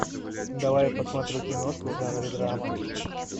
давай я посмотрю киношку в жанре драма